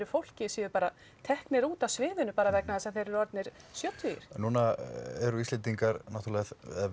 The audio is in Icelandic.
fólki séu bara teknir út af sviðinu bara vegna þess að þeir eru orðnir sjötugir núna eru Íslendingar náttúrulega